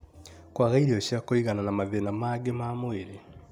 kwaga irio cia kũigana, na mathĩna mangĩ ma mwĩrĩ.